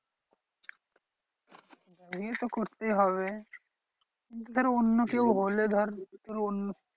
বিয়ে তো করতে হবে ধর অন্য কেউ হলে ধর অন্য